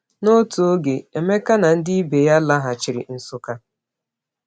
N’otu oge, Emeka na ndị ibe ya laghachiri Nsukka.